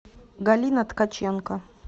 галина ткаченко